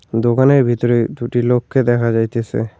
দোকানের ভিতরে দুটি লোককে দেখা যাইতেসে।